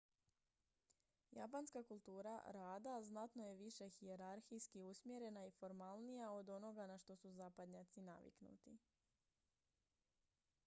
japanska kultura rada znatno je više hijerarhijski usmjerena i formalnija od onoga na što su zapadnjaci naviknuti